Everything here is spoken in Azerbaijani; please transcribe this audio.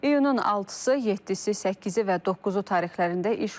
İyunun 6-sı, 7-si, 8-i və 9-u tarixlərində iş olmayacaq.